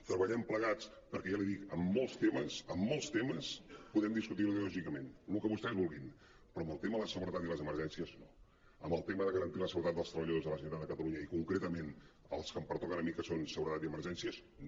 treballem plegats perquè ja l’hi dic en molts temes en molts temes podem discutir ideològicament el que vostès vulguin però en el tema de la seguretat i les emergències no en el tema de garantir la seguretat dels treballadors de la generalitat de catalunya i concreta·ment els que em pertoquen a mi que són seguretat i emergències no